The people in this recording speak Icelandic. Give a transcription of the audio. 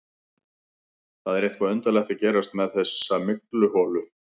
Það er eitthvað undarlegt að gerast með þessa mygluholu.